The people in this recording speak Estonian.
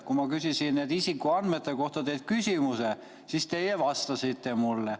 Kui ma küsisin isikuandmete kohta teilt küsimuse, siis teie vastasite mulle.